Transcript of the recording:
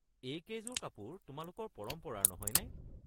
এইকেইযোৰ কাপোৰ তোমালোকৰ পৰম্পৰাৰ নহয়নে?